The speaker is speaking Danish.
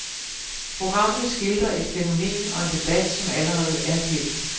Programmet skildrer et fænomen og en debat som allerede er kendt.